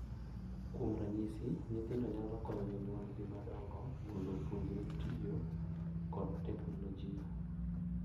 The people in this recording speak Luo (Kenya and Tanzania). Kuom ranyisi, nyithindo nyalo konyo jonyuolgi madongo mondo opuonjre tiyo kod teknolojia,